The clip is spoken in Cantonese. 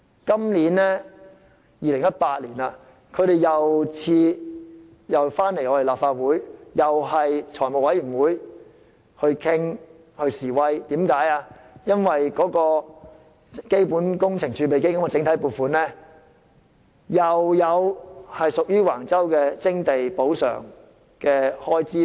今年2018年，他們又再來立法會財務委員會示威，因為財務委員會又會再討論基本工程儲備基金整體撥款有關橫洲徵地補償的開支。